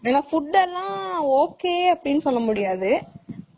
ஏன்னா food எல்லாம் ok அப்டினு சொல்லமுடியாது